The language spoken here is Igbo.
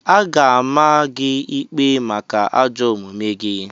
A ga-ama gị ikpe maka ajọ omume gị!